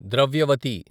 Dravyavati